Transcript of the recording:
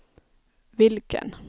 vilken